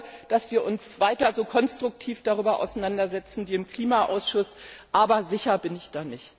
Ich hoffe, dass wir uns weiter so konstruktiv darüber auseinandersetzen wie im Klimaausschuss, aber sicher bin ich da nicht.